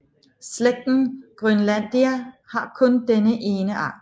Slægten Groenlandia har kun denne ene art